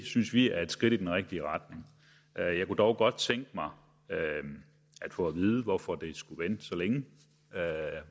synes vi er et skridt i den rigtige retning jeg kunne dog godt tænke mig at få at vide hvorfor det skulle vente så længe